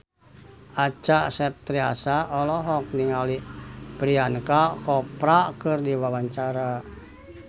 Acha Septriasa olohok ningali Priyanka Chopra keur diwawancara